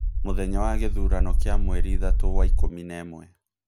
Mũthenya wa Kithurano kia mweri ithatu wa ikumi na imwe